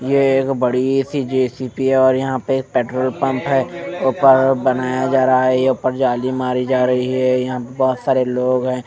ये एक बड़ी सी जे_सी_बी है और यहां पे एक पेट्रोल पंप है ऊपर बनाया जा रहा है ये ऊपर जाली मारी जा रही है यहां पे बहुत सारे लोग हैं।